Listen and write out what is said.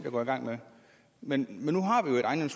at gå i gang med men